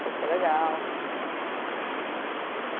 Foi super legal.